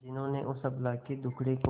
जिन्होंने उस अबला के दुखड़े को